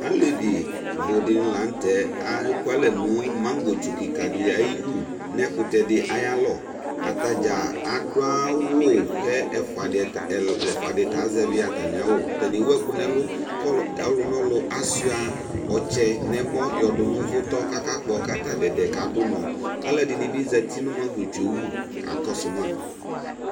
Alevi budini lanu tɛ kekualɛ nu mangɔ kika yɛ ayu atadza adu awu ku ɛfua di ta azɛvi awu ku ɔlu nɛlu achua ɔtsɛ yɔdu nu ʊvutɔ kakakpo kadu unɔ aluɛdini bi zati nu mangɔ yɛ wu kakɔsu ma